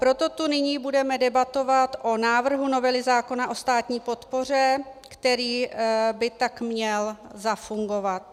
Proto tu nyní budeme debatovat o návrhu novely zákona o státní podpoře, který by tak měl zafungovat.